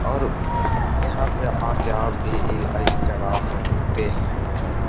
और यहाँ पे आके आप भी ईलाज करा सकते हैं।